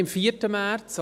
– Nein, am 4. März.